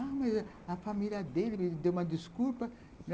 A família dele me deu uma desculpa.